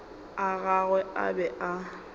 a gagwe a be a